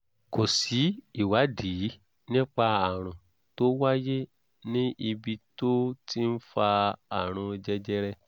kò sí ìwádìí nípa ààrùn tó wáyé ní ibi tó ti ń fa àrùn jẹjẹrẹ